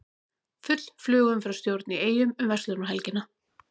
Full flugumferðarstjórn í Eyjum um verslunarmannahelgina